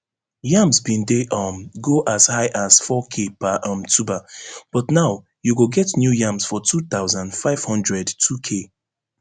yams bin dey um go as high as fourk per um tuber but now you go get new yams for two thousand, five hundred twok